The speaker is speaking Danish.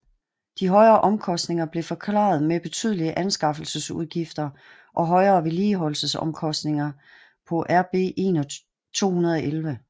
De højere omkostninger blev forklaret med betydelige anskaffelsesudgifter og og højere vedligeholdelsesomkostninger på RB211